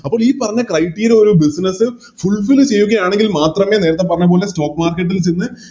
അപ്പോം ഈ പറഞ്ഞ Criteria ഒരു Business fulfill ചെയ്യുകയാണെങ്കിൽ മാത്രമേ നേരത്തെ പറഞ്ഞപോലെ Stock market ൽ ചെന്ന്